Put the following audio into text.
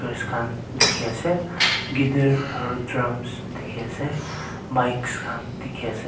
khan dekhi ase guitar aro drums dekhi ase mikes khan dekhi ase.